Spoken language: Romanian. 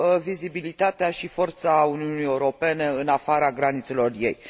vizibilitatea și forța Uniunii Europene în afara granițelor ei.